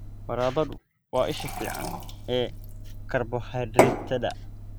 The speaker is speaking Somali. Baradhadu waa isha fiican ee karbohaydraytyada.